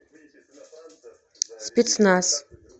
спецназ